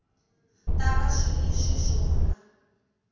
ta va swi ri xiswona